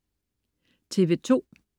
TV2: